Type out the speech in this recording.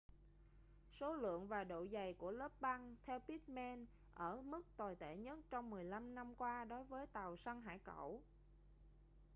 số lượng và độ dày của lớp băng theo pittman ở mức tồi tệ nhất trong 15 năm qua đối với tàu săn hải cẩu